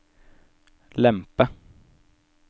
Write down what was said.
lempe